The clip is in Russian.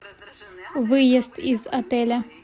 выезд из отеля